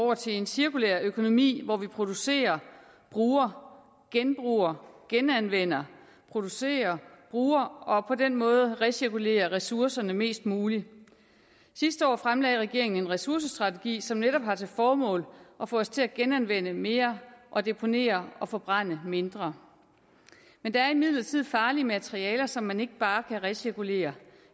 over til en cirkulær økonomi hvor vi producerer bruger genbruger genanvender producerer bruger og på den måde recirkulerer ressourcerne mest muligt sidste år fremlagde regeringen en ressourcestrategi som netop har til formål at få os til at genanvende mere og deponere og forbrænde mindre men der er imidlertid farlige materialer som man ikke bare kan recirkulere